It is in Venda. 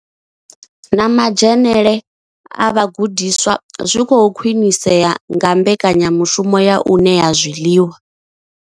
Na madzhenele a vhagudiswa zwi khou khwinisea nga mbekanyamushumo ya u ṋea zwiḽiwa.